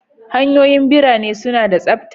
Hanyoyin ɓirane suna da tsabta.